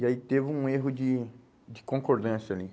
E aí teve um erro de de concordância ali.